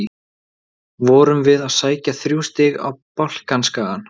Vorum við að sækja þrjú stig á Balkanskagann?